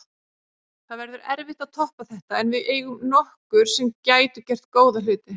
Það verður erfitt að toppa þetta en við eigum nokkur sem gætu gert góða hluti.